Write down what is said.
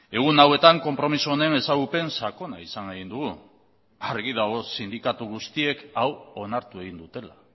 egun hauetan konpromiso honen ezagupen sakona izan egin dugu argi dago sindikatu guztiek hau onartu egin dutela